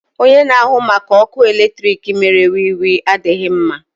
Onye na-ahụ maka ọkụ eletrik mere wiwi adịghị mma.